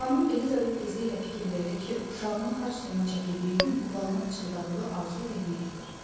Xanım Elizabet tezliklə fikir verdi ki, uşağının xaç suyuna çəkildiyi gün qulağına pıçıldadığı arzu yerinə yetir.